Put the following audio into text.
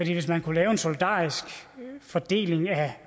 hvis man kunne lave en solidarisk fordeling af